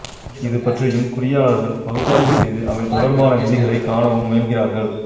இது பற்றியும் குறியியலாளர்கள் பகுப்பாய்வு செய்து அவை தொடர்பான விதிகளைக் காணவும் முயல்கிறார்கள்